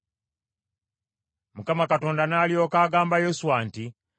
Mukama Katonda n’alyoka agamba Yoswa nti,